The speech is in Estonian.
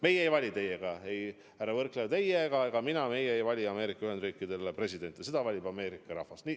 Meie ei vali teiega, härra Võrklaev, mina, meie keegi siin ei vali Ameerika Ühendriikidele presidenti, selle valiku teeb Ameerika rahvas.